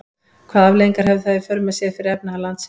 Hvaða afleiðingar hefði það í för með sér fyrir efnahag landsins?